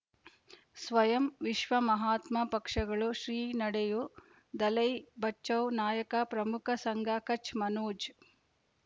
ಸ್ವಯಂ ವಿಶ್ವ ಮಹಾತ್ಮ ಪಕ್ಷಗಳು ಶ್ರೀ ನಡೆಯೂ ದಲೈ ಬಚೌ ನಾಯಕ ಪ್ರಮುಖ ಸಂಘ ಕಚ್ ಮನೋಜ್